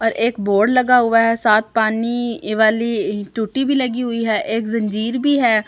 और एक बोर्ड लगा हुआ है साथ पानी वाली टूटी भी लगी हुई है एक जंजीर भी है।